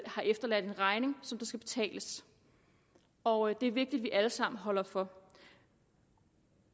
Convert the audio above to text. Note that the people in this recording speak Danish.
har efterladt en regning som skal betales og det er vigtigt at vi alle sammen holder for